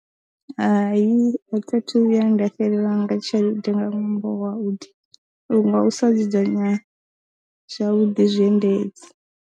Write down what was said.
Hai a thi thu vhuya nda xelelwa nga tshelede nga ṅwambo wa vhuḓi nga u sa dzudzanya zwavhuḓi zwiendedzi.